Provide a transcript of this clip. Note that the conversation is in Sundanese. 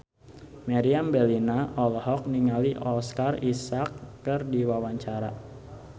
Meriam Bellina olohok ningali Oscar Isaac keur diwawancara